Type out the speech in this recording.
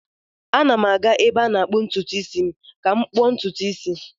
M na-aga ebe a na-akpụ ntutu isi ka m kpuo ntutu isi m.